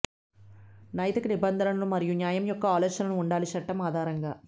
నైతిక నిబంధనలను మరియు న్యాయం యొక్క ఆలోచనలు ఉండాలి చట్టం ఆధారంగా